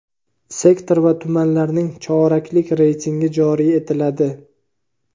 sektor va tumanlarning choraklik reytingi joriy etiladi.